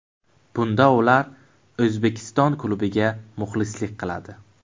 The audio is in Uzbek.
Bunda ular O‘zbekiston klubiga muxlislik qiladi.